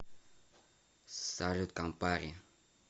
салют кампари